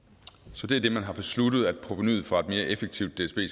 så det er det man har besluttet at provenuet fra et mere effektivt dsb